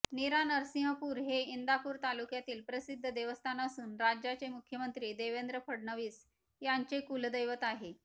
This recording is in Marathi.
नीरा नरसिंहपूर हे इंदापूर तालुक्यातील प्रसिद्ध देवस्थान असून राज्याचे मुख्यमंत्री देवेंद्र फडणवीस यांचे कुलदैवत आहे